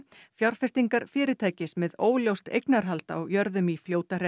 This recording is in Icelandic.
fjárfestingar fyrirtækis með óljóst eignarhald á jörðum í